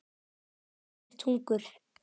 Ekkert hungur.